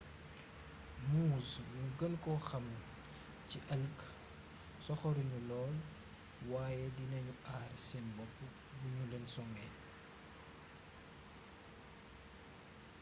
moose gnu geenko xam ci elk soxorugnu lool wayé dinagnu aar sén bopp bugnulén songé